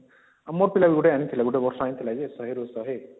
ଆମର ପିଲା ବି ଗୁଟେ ଆଣିଥିଲା ଗୁଟେ ବର୍ଷ ଆଣିଥିଲା ଯେ ୧୦୦ ରୁ ୧୦୦